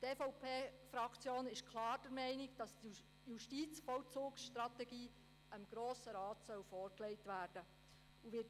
Die EVP-Fraktion ist klar der Meinung, dass die Justizvollzugsstrategie dem Grossen Rat vorgelegt werden soll.